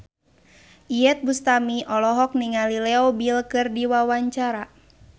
Iyeth Bustami olohok ningali Leo Bill keur diwawancara